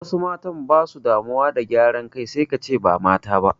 Wasu matan basu damuwa da gyaran kai sai kace ba mata ba